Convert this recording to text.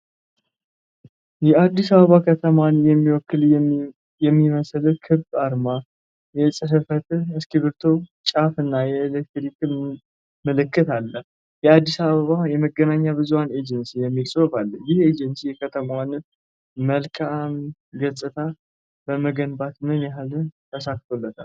የአዲስ አበባ ከተማን የሚወክል የሚመስል ክብ አርማ፣ የጽሕፈት እስክርቢቶ ጫፍ እና የኤሌክትሪክ ምልክት አለ። "የአዲስ አበባ የመገናኛ ብዙኃን ኤጀንሲ" የሚል ጽሑፍ አለ። ይህ ኤጀንሲ የከተማዋን መልካም ገፅታ በመገንባት ምን ያህል ተሳክቶለታል?